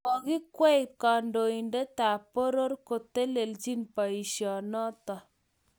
Kokikwei kandoindetab poror kotelelchi boisionoto